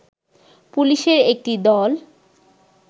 পুলিশের একটি দল